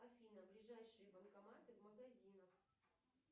афина ближайшие банкоматы в магазинах